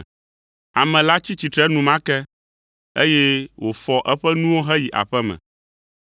Ame la tsi tsitre enumake, eye wòfɔ eƒe nuwo heyi aƒe me.